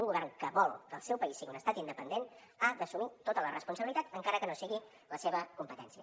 un govern que vol que el seu país sigui un estat independent ha d’assumir tota la responsabilitat encara que no sigui la seva competència